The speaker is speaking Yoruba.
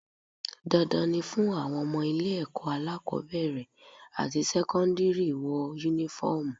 Dandan ni fún àwọn ọmọ ilé ẹ̀kọ́ alákọ́bẹ̀rẹ̀ àti sẹ́kọ́ndírì wọ Únífọ́ọ̀mù